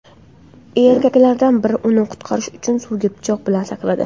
Erkaklardan biri uni qutqarish uchun suvga pichoq bilan sakradi.